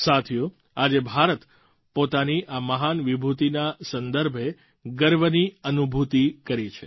સાથીઓ આજે ભારત પોતાની આ મહાન વિભૂતિના સંદર્ભે ગર્વની અનુભૂતિ કરે છે